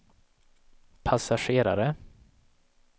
passagerare